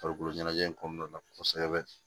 Farikolo ɲɛnajɛ in kɔnɔna la kosɛbɛ